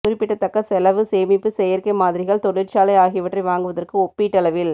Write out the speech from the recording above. குறிப்பிடத்தக்க செலவு சேமிப்பு செயற்கை மாதிரிகள் தொழிற்சாலை ஆகியவற்றை வாங்குவதற்கு ஒப்பீட்டளவில்